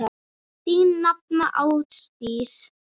Þín nafna, Ásdís.